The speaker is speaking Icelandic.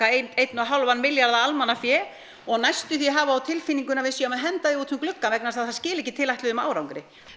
einn og hálfan milljarð af almannafé og næstum því hafa á tilfinningunni að við séum að henda því út um gluggann vegna þess að það skili ekki tilætluðum árangri